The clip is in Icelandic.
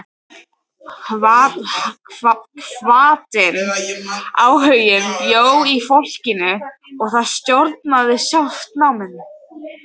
Hvatinn, áhuginn bjó í fólkinu og það stjórnaði sjálft náminu.